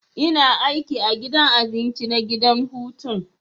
Ina aiki a gidan abinci na gidan hutun.